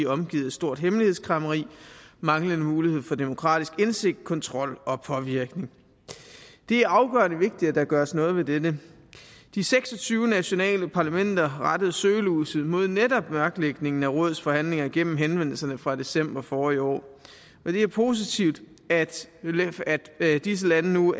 omgivet af stort hemmelighedskræmmeri manglende mulighed for demokratisk indsigt kontrol og påvirkning det er afgørende vigtigt at der gøres noget ved dette de seks og tyve nationale parlamenter har rettet søgelyset mod netop mørklægningen af rådets forhandlinger igennem henvendelserne fra december forrige år det er positivt at disse lande nu